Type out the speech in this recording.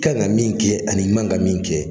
Kan ka min kɛ, ani man ka min kɛ